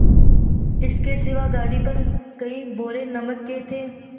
इसके सिवा गाड़ी पर कई बोरे नमक के थे